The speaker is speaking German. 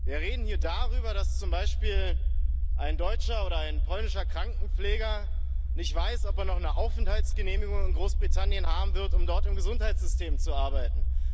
Wir reden hier darüber, dass zum Beispiel ein deutscher oder ein polnischer Krankenpfleger nicht weiß, ob er noch eine Aufenthaltsgenehmigung in Großbritannien haben wird, um dort im Gesundheitssystem zu arbeiten.